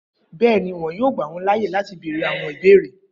Bẹẹni, wọn yoo gba wọn laaye lati beere awọn ibeere.